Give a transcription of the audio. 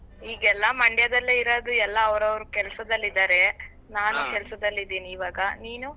ಈಗ ಎಲ್ಲ Mandya ದಲ್ಲೇ ಇರೋದು ಎಲ್ಲಾ ಅವ್ರವ್ರ್ ಕೆಲ್ಸದಲ್ಲಿದ್ದಾರೆ ನಾನು ಕೆಲ್ಸದಲ್ಲಿದ್ದೀನಿ ಈವಾಗ ನೀನು?